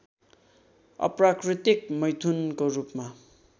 अप्राकृतिक मैथुनको रूपमा